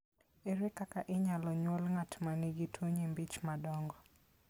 Ere kaka inyalo nyuol ng'at ma nigi tuwo nyimbi ich madongo?